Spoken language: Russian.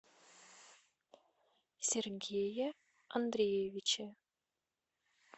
сергее андреевиче